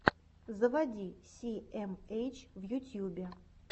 заводи си эм эйч в ютьюбе